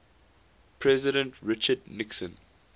president richard nixon